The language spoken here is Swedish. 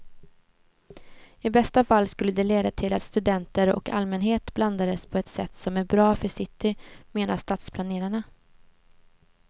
I bästa fall skulle det leda till att studenter och allmänhet blandades på ett sätt som är bra för city, menar stadsplanerarna.